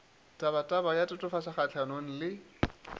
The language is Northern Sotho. tabataba ya tatofatšo kgahlano le